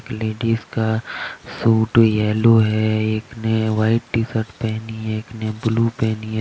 ladies का suit yellow है एक ने व्हाइट टी शर्ट पहनी है एक ने ब्लू पहनी है दो --